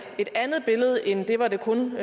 andet billede end det hvor det kun